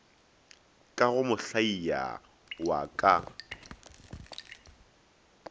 ka go mohlaia wa ka